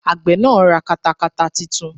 Àgbẹ̀ náà ra katakata titun